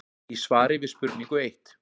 í svari við spurningu eitt.